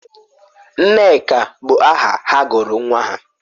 Nneka bụ aha ha gụrụ nwa ha?